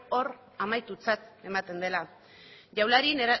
hor amaitutzat ematen dela